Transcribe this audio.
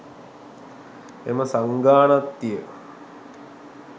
එම සංඝාණත්තිය